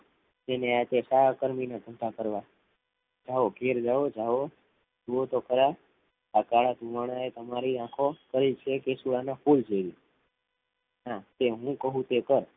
તેને હાથે સાકરવી અને સૂતા કરવા જાઉં ઘરે જાઉં સુઓ થો ખરા આ તમારી આખો છે કે સુવાના પુલ જેવી હા તે હું કૌ યે કાર